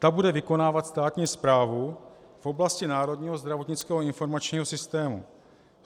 Ta bude vykonávat státní správu v oblasti Národního zdravotního informačního systému.